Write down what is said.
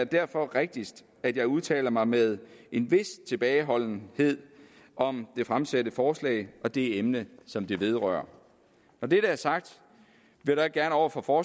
derfor rigtigst at jeg udtaler mig med en vis tilbageholdenhed om de fremsatte forslag og det emne som de vedrører når det er sagt vil jeg gerne over for for